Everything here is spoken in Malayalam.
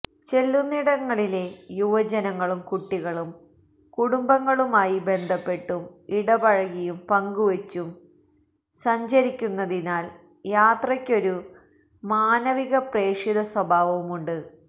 ചെല്ലുന്നിടങ്ങളിലെ യുവജനങ്ങളും കുട്ടികളും കുടുംബങ്ങളുമായി ബന്ധപ്പെട്ടും ഇടപഴകിയും പങ്കുവച്ചും സഞ്ചിരിക്കുന്നതിനാല് യാത്രയ്ക്കൊരു മാനവിക പ്രേഷിതസ്വഭാവവുമുണ്ട്